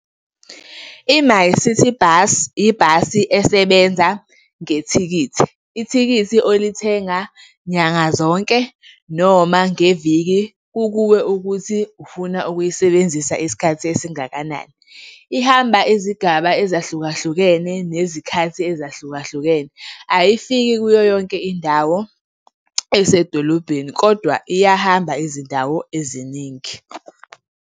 I-MyCiTi Bus, ibhasi esebenza ngethikithi. Ithikithi olithenga nyanga zonke noma ngeviki kukuwe ukuthi ufuna ukuyisebenzisa isikhathi esingakanani. Ihamba izigaba ezahlukahlukene nezikhathi ezahlukahlukene, ayifiki kuyo yonke indawo ey'sedolobheni kodwa iyahamba izindawo eziningi.